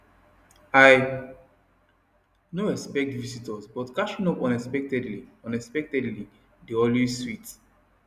i no expect visitors but catching up unexpectedly unexpectedly dey always sweet